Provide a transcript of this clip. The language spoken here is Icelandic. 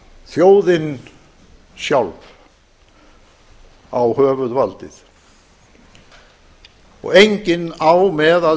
þjóðin sjálf á höfuðvaldið og enginn á með að